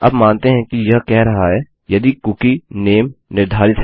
अब मानते हैं कि यह कह रहा है यदि कुकी नामे निर्धारित है